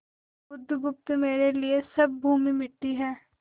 बुधगुप्त मेरे लिए सब भूमि मिट्टी है